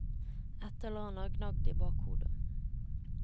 Et eller annet gnaget i bakhodet.